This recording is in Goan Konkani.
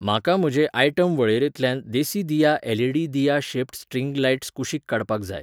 म्हाका म्हजे आयटम वळेरेंतल्यान देसिदिया एल.ई.डी. दिया शेप्ड स्ट्रिंग लायट्स कुशीक काडपाक जाय.